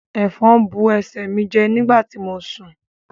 Efòn bu ẹsẹ mí jẹ nígbàtí mo sún